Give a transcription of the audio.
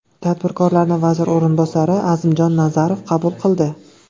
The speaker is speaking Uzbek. Tadbirkorlarni vazir o‘rinbosari Azimjon Nazarov qabul qildi.